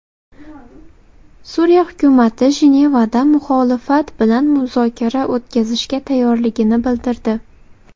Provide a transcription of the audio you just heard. Suriya hukumati Jenevada muxolifat bilan muzokara o‘tkazishga tayyorligini bildirdi.